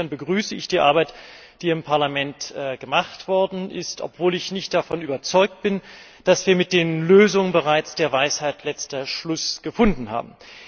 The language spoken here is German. Insofern begrüße ich die Arbeit, die im Parlament gemacht worden ist, obwohl ich nicht davon überzeugt bin, dass wir mit den Lösungen bereits der Weisheit letzten Schluss gefunden haben.